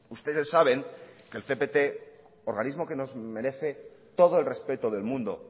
ustedes saben que el cpt organismo que nos merece todo el respeto del mundo